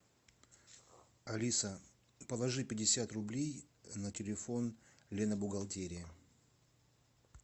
алиса положи пятьдесят рублей на телефон лена бухгалтерия